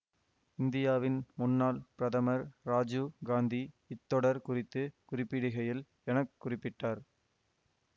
இந்தியாவின் முன்னாள் பிரதமர் ராஜீவ் காந்தி இத்தொடர் குறித்து குறிப்பிடுகையில் என குறிப்பிட்டார்